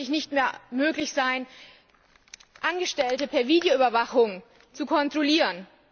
soll es zukünftig nicht mehr möglich sein, Angestellte per Videoüberwachung zu kontrollieren.